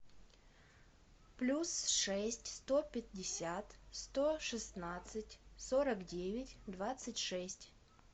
плюс шесть сто пятьдесят сто шестнадцать сорок девять двадцать шесть